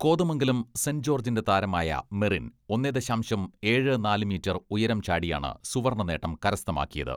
Kothamangalam saint ജോർജിന്റെ താരമായ മെറിൻ ഒന്നേ ദശാംശം ഏഴ്, നാല് മീറ്റർ ഉയരം ചാടിയാണ് സുവർണ്ണനേട്ടം കരസ്ഥമാക്കിയത്.